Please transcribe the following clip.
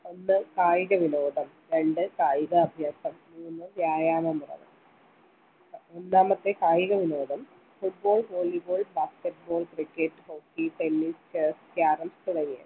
ഒന്ന് കായിക വിനോദം രണ്ട് കായിക അഭ്യാസം മൂന്ന് വ്യായാമ മുറകൾ ഒന്നാമത്തെ കായിക വിനോദം football volleyball basketball cricket hockey tennis chess carroms തുടങ്ങിയവ